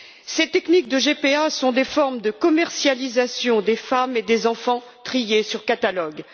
Ces techniques de GPA sont des formes de commercialisation des femmes et des enfants triés sur catalogue.